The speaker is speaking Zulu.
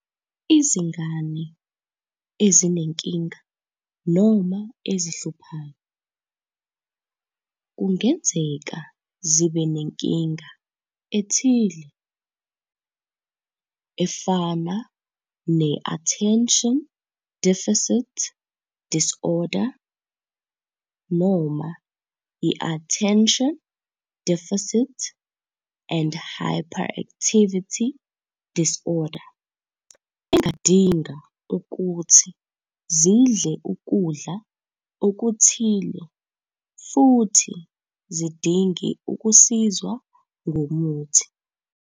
Izingane ezinenkinga noma 'ezihluphayo' kungenzeka zibe nenkinga ethile, efana ne-Attention Deficit Disorder noma iAttention Deficit and Hyperactivity Disorder engadinga ukuthi zidle ukudla okuthile futhi zidinge ukusizwa ngomuthi.